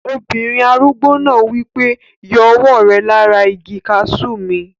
Obìnrin arúgbó náà wí pé, "yọ ọwọ́ rẹ lára igi kaasú mi!"